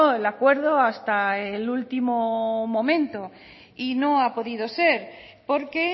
el acuerdo hasta el último momento y no ha podido ser porque